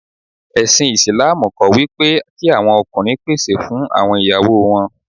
Ẹ̀sìn Ìsìlámù kọ́ wípé kí àwọn ọkùnrin pèsè fún àwọn ìyáwó wọn.